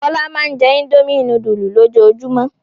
Fọlá máa ń jẹ́ Indomie núdúlù lójoojúmọ́.